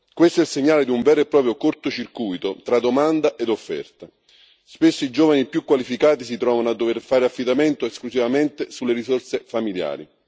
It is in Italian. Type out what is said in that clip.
Questo è il segnale di un vero e proprio cortocircuito tra domanda e offerta spesso i giovani più qualificati si trovano a dover fare affidamento esclusivamente sulle risorse familiari.